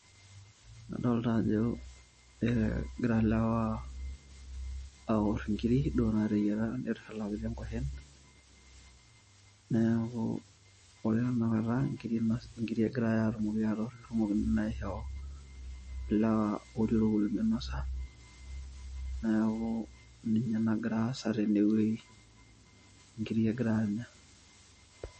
Adolta ajo ee egira lewa aor nkirik neaku nkirik egerai aor tene, naisho lewa neaku kegira neaku ninye nagira aasa tenewueji, nkirik egirai enya.